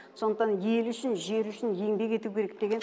сондықтан ел үшін жер үшін еңбек ету керек деген